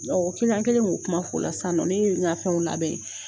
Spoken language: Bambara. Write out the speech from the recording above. An kɛlen ko kuma fo la sisannɔ ne ye nka fɛnw labɛn.